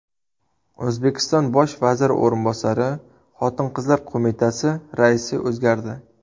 O‘zbekiston Bosh vaziri o‘rinbosari, Xotin-qizlar qo‘mitasi raisi o‘zgardi.